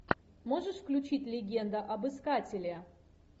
можешь включить легенда об искателе